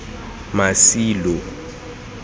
masilo